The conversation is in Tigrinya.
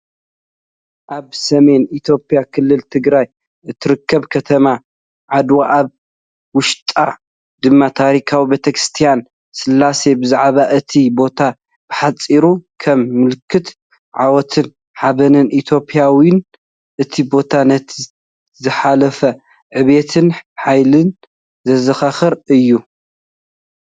ኣብ ሰሜን ኢትዮጵያ ክልል ትግራይ እትርከብ ከተማ ዓድዋ፡ ኣብ ውሽጣ ድማ ታሪኻዊት ቤተክርስትያን ስላሴ። ብዛዕባ እቲ ቦታ ብሓጺሩ ከም ምልክት ዓወትን ሓበንን ንኢትዮጵያውያን፡ እቲ ቦታ ነቲ ዝሓለፈ ዕብየትን ሓይልን ዘዘኻኽር እዩ።